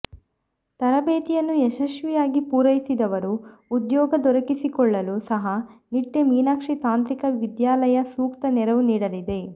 ತರಬೇತಿಯನ್ನು ಯಶಸ್ವಿಯಾಗಿ ಪೂರೈಸಿದವರು ಉದ್ಯೋಗ ದೊರಕಿಸಿಕೊಳ್ಳಲು ಸಹ ನಿಟ್ಟೆ ಮೀನಾಕ್ಷಿ ತಾಂತ್ರಿಕ ವಿದ್ಯಾಲಯ ಸೂಕ್ತ ನೆರವು ನೀಡಲಿದೆ